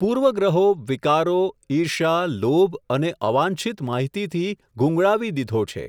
પૂર્વ ગ્રહો, વિકારો, ઈર્ષ્યા, લોભ અને અવાંછિત માહિતીથી ગૂંગળાવી દીધો છે.